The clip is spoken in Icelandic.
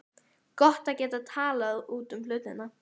Gott að geta talað út um hlutina.